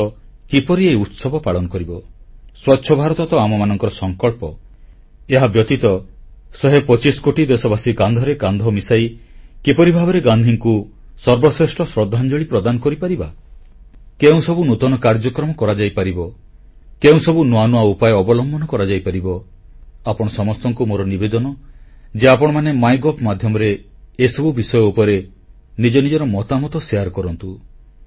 ଦେଶ କିପରି ଏହି ଉତ୍ସବ ପାଳନ କରିବ ସ୍ୱଚ୍ଛ ଭାରତ ତ ଆମମାନଙ୍କର ସଂକଳ୍ପ ଏହାବ୍ୟତୀତ ଶହେ ପଚିଶ କୋଟି ଦେଶବାସୀ କାନ୍ଧରେ କାନ୍ଧ ମିଶାଇ କିପରି ଭାବରେ ଗାନ୍ଧୀଙ୍କୁ ସର୍ବଶ୍ରେଷ୍ଠ ଶ୍ରଦ୍ଧାଞ୍ଜଳି ପ୍ରଦାନ କରିପାରିବା କେଉଁସବୁ ନୂତନ କାର୍ଯ୍ୟକ୍ରମ କରାଯାଇପାରିବ କେଉଁସବୁ ନୂଆ ନୂଆ ଉପାୟ ଅବଲମ୍ବନ କରାଯାଇପାରିବ ଆପଣ ସମସ୍ତଙ୍କୁ ମୋର ନିବେଦନ ଯେ ଆପଣମାନେ ମାଇଗଭ୍ ମାଧ୍ୟମରେ ଏସବୁ ବିଷୟ ଉପରେ ନିଜ ନିଜର ମତାମତ ପ୍ରଦାନ କରନ୍ତୁ